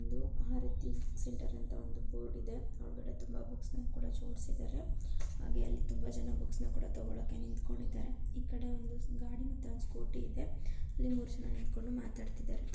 ಇದು Aarti book centre ಅಂತ ಒಂದು ಬೋರ್ಡ್ ಇದೆ. ಆ ಕಡೆ ತುಂಬಾ ಬುಕ್ ಗಳನ್ನು ಜೋಡಿಸಿದ್ದಾರೆ ಹಾಗೆ ತುಂಬಾ ಜನ ಅಲ್ಲಿ ಬುಕ್ಸ್ ನ ಕೂಡ ತಗೊಳ್ಳೋಕೆ ನಿಂತ್ಕೊಂಡಿದ್ದಾರೆ. ಈ ಕಡೆ ಒಂದಿಷ್ಟು ಗಾಡಿ ಮತ್ತೆ ಒಂದ್ ಸ್ಕೂಟಿ ಇದೆ. ಅಲ್ಲಿ ಮೂರು ಜನ ನಿಂತ್ಕೊಂಡು ಮಾತಾಡ್ತಾ ಇದ್ದಾರೆ.